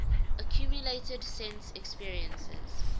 accumulated sense experiences